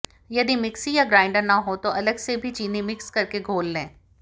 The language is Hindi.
यदि मिक्सी या गार्ईंन्डर न हो तो अलग से भी चीनी मिक्स करके घोल लें